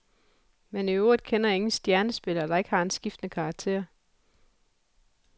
Men i øvrigt kender jeg ingen stjernespillere, der ikke har en skiftende karakter.